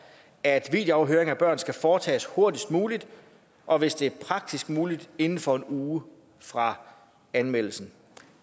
at videoafhøring af børn skal foretages hurtigst muligt og hvis det er praktisk muligt inden for en uge fra anmeldelsen